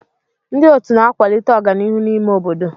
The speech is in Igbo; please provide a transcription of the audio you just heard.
Ndị otu na-akwalite ọganihu n'ime obodo.